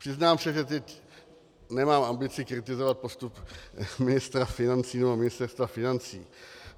Přiznám se, že teď nemám ambici kritizovat postup ministra financí nebo Ministerstva financí.